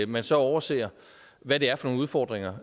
man så overser hvad det er for nogle udfordringer